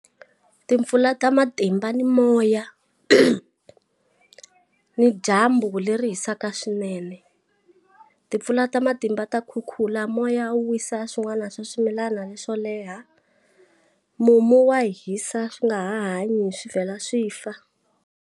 Timpfula ta matimba ni moya, ni dyambu leri hisaka swinene. Timpfula ta matimba ta kukula moya wo wisa swin'wana swa swimilana leswo leha. Mumu wa hisa swi nga hanyi swi vhela swi fa.